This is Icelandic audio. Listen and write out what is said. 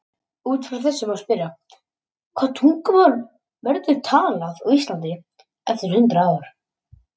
Út frá þessu má spyrja: Hvaða tungumál verður talað á Íslandi eftir hundrað ár?